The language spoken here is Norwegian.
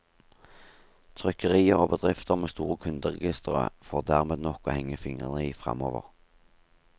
Trykkerier og bedrifter med store kunderegistre får dermed nok å henge fingrene i fremover.